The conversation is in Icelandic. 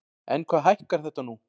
En hvað hækkar þetta nú?